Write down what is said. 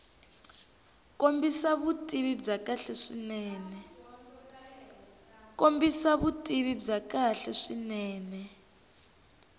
kombisa vutivi byo kahle swinene